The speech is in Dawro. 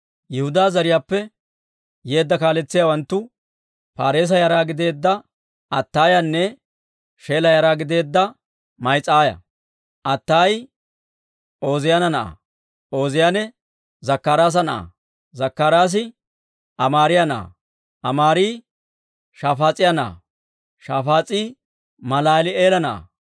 Yihudaanne Biiniyaama zariyaappe yeedda kaaletsiyaawanttu Paareesa yara gideedda Ataayanne Sheela yara gideedda Ma'iseeya. Ataayi Ooziyaana na'aa; Ooziyaane Zakkaraasa na'aa; Zakkaraasi Amaariyaa na'aa; Amaari Shafaas'iyaa na'aa; Shafaas'i Malaali'eela na'aa.